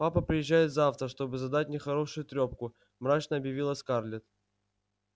папа приезжает завтра чтобы задать мне хорошую трёпку мрачно объявила скарлетт